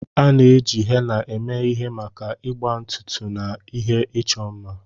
A na-eji henna eme ihe maka agba ntutu na ihe ịchọ mma.